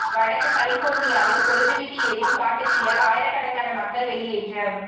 வடக்கு கலிபோர்னியாவில் கொழுந்து விட்டு எரியும் காட்டுத்தீயால் ஆயிரக்கணக்கான மக்கள் வெளியேற்றம்